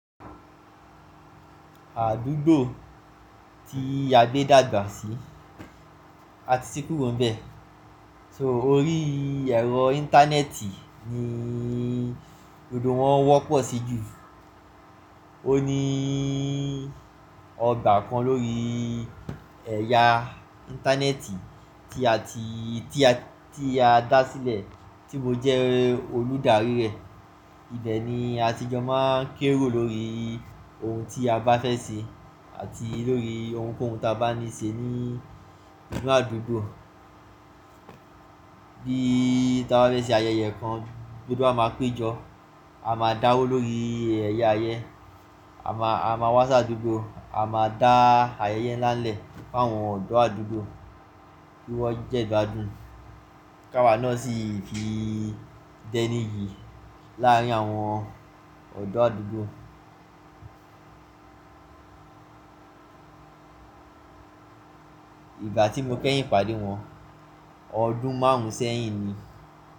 Àdúgbò tí a gbé dàgbà sí àti kúrò ń bẹ. Torí ẹ̀rọ Íńtánẹ́ẹ̀tì ni odò wọn wọ́pọ̀ sí jù. Ó ní ọgbà kan lórí ẹ̀ya Íńtánẹ́ẹ̀tì tí a ti, tí a, tí a dá sílẹ̀ tí mo jẹ́ olùdarí rẹ. Ibẹ̀ ni a ti jọ má n kéerò lórí ohun tí a bá fẹ́ ṣe àti lórí ohunkóhun tí a bá níi ṣe ní inu àdúgbò. Bí tí a bá fẹ́ ṣe ayẹyẹ kan, gbogbo wa máa péjọ, a máa dáwó lórí ẹ̀yà yen, a má, a má wá si adúgbò, a máa dá ayẹyẹ ńlá lẹ̀ fún àwọn ọ̀dọ́ àdúgbò kí wọ́n jẹ́ igbadùn. K'áwa náà sì fi d'ẹ́ní iyi láàrin àwọn ọ̀dọ́ àdúgbò. Ìgbà tí mo keyìn pàdé wọn, ọdún márùn ún sẹ́yìn ni.